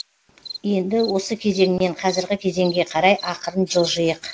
енді осы кезеңнен қазіргі кезеңге қарай ақырын жылжыйық